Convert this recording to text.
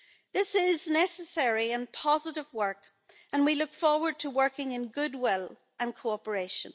This is necessary and positive work, and we look forward to working in goodwill and cooperation.